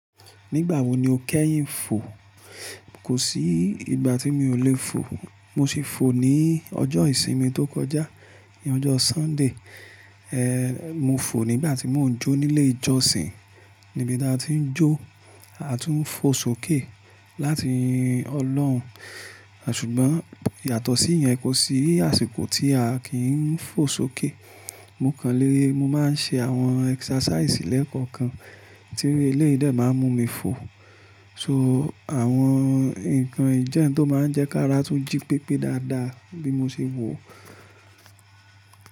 Nígbà wo ni o kẹ́yìn fò? Kò sí ìgbà tí mi ò lè fò. Mo sì fò ní ọjọ́ ìsinmi tó kọjá, ní ọjọ́ Sunday. Mo fò nígbà tí mò ń jó nílé ìjọsìn. Nibita tí ń jó, a tún ń fò sókè láti ọlọ́run. Ṣùgbọ́n yàtọ̀ sí ìyẹn, kò sí àsìkò tí a kì í ń fò sókè. Mo kàn le, mo máa ń ṣe àwọn exercise lẹ́ẹ̀kọ̀kan tí eléyìí dé máa ń mú mi fò. So, àwọn nǹkan yii jẹ ohun to máa ń jẹ́ kí ara tún jí pépé dáadáa bí mo ṣe wò ó.